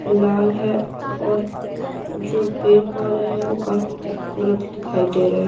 लाल है और जो पेड़ पौधे हैं वो काफी खूबसूरत दिखाई दे रहे हैं।